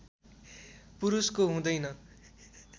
पुरुषको हुँदैन